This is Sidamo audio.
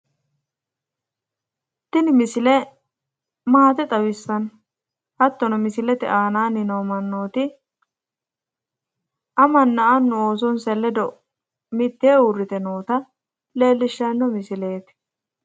Tini misile maate xawissanno. hattono misikete aanaanni noo mannooti amanna annu oosonsa ledo mittee uurite noota leellishshanno misileeti.